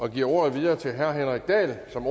og giver ordet videre til herre henrik dahl som